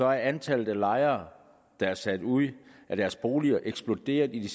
er antallet af lejere der er sat ud af deres boliger eksploderet i de